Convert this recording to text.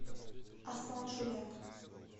аслан шуляк